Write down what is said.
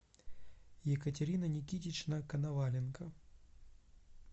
екатерина никитична коноваленко